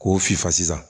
K'o sifasa